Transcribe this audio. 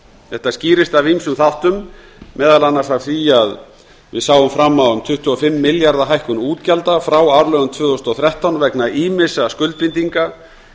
þetta skýrist af ýmsum þáttum meðal annars af því að við sáum fram á um tuttugu og fimm milljarða hækkun útgjalda frá fjárlögum tvö þúsund og þrettán vegna ýmissa skuldbindinga í tengslum